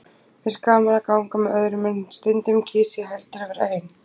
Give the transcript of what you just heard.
Mér finnst gaman að ganga með öðrum, en stundum kýs ég heldur að vera ein.